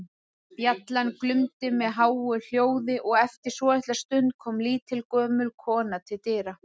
Bjallan glumdi með háu hljóði og eftir svolitla stund kom lítil, gömul kona til dyra.